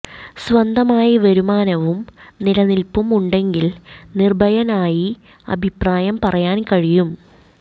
സ്വന്തമായി വരുമാനവും നിലനിൽപ്പും ഉണ്ടെങ്കിൽ നിർഭയനായി അഭിപ്രായം പറയാൻ കഴിയും